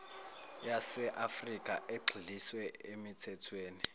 yaseafrikha egxiliswe emithethweni